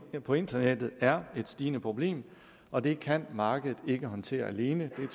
på internettet er et stigende problem og det kan markedet ikke håndtere alene selv